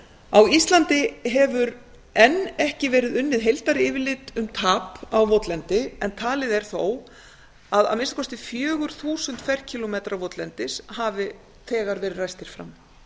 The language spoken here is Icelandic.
á íslandi hefur enn ekki verið unnið heildaryfirlit um tap á votlendi en talið er þó að að minnsta kosti fjögur þúsund ferkílómetrar votlendis hafi þegar verið ræstir fram